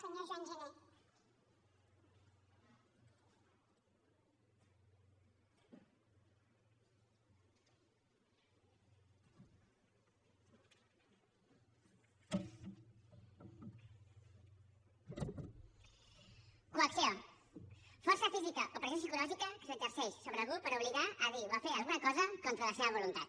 coacció força física o pressió psicològica que s’exerceix sobre algú per obligar a dir o a fer alguna cosa contra la seva voluntat